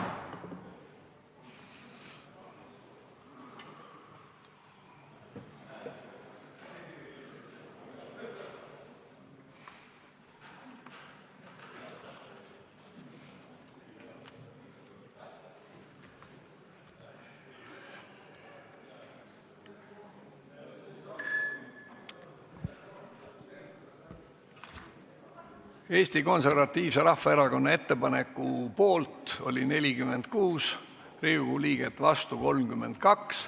Hääletustulemused Eesti Konservatiivse Rahvaerakonna ettepaneku poolt oli 46 Riigikogu liiget, vastu 32.